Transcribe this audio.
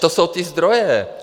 To jsou ty zdroje.